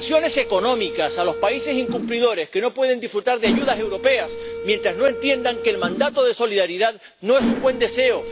Sanciones económicas a los países incumplidores, que no pueden disfrutar de ayudas europeas mientras no entiendan que el mandato de solidaridad no es un buen deseo